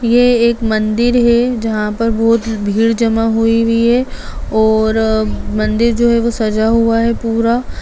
ये एक मंदिर है जहाँ पर बहुत भीड़ जमा हुई है और मंदिर जो है वो सजा हुआ है पूरा।